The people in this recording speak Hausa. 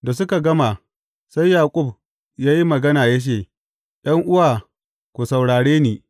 Da suka gama, sai Yaƙub ya yi magana ya ce, ’Yan’uwa, ku saurare ni.